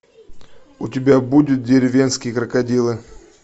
у тебя будет деревенские крокодилы